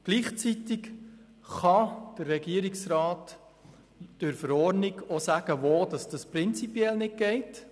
Gleichzeitig kann der Regierungsrat durch eine Verordnung festlegen, wo das prinzipiell nicht geht.